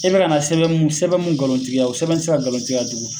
I be ka na sɛbɛn mun sɛbɛn mun ngalontigiya, o sɛbɛn te se ka ngalontigiya tugun.